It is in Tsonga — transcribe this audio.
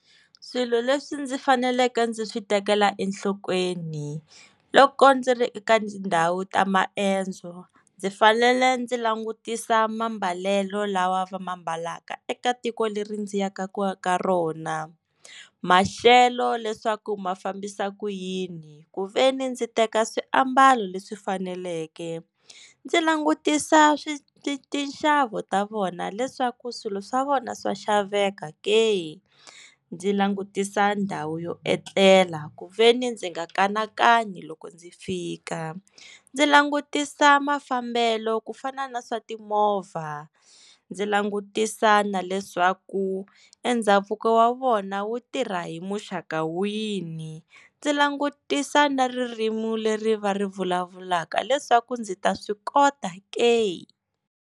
Swilo leswi ndzi faneleke ndzi swi tekela enhlokweni loko ndzi ri eka ndhawu ta maendzo ndzi fanele ndzi langutisa mambalelo lawa va ma mbalaka eka tiko leri ndzi ya ka ku ya ka rona maxelo leswaku ma fambisa ku yini ku ve ni ndzi teka swiambalo leswi faneleke ndzi langutisa swi swi tinxavo ta vona leswaku swilo swa vona swa xaveka ke ku ndzi langutisa ndhawu yo etlela ku ve ni ndzi nga kanakani loko ndzi fika ndzi langutisa mafambelo ku fana na swa timovha ndzi langutisa na leswaku endhavuko wa vona wu tirha hi muxaka wini ndzi langutisa na ririmi leri va ri vulavulaka leswaku ndzi ta swi kota ke.